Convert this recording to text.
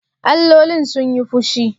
Allolin sun yi fushi?